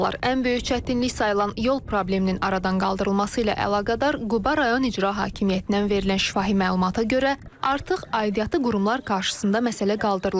Ən böyük çətinlik sayılan yol probleminin aradan qaldırılması ilə əlaqədar Quba rayon İcra Hakimiyyətindən verilən şifahi məlumata görə, artıq aidiyyatı qurumlar qarşısında məsələ qaldırılıb.